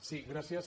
sí gràcies